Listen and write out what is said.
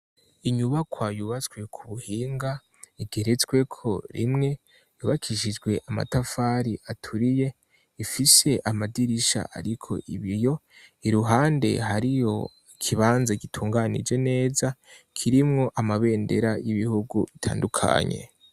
Inyubakwa yubatswe k'ubuhinga igeretsweko rimwe yubakishijwe amatafari aturiye ifise amadirisha ariko ibiyo iruhande hariyo ikibanza gitunganije neza kirimwo amabendera y'ibihugu bitandukanye.